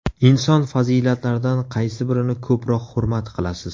Inson fazilatlaridan qaysi birini ko‘proq hurmat qilasiz?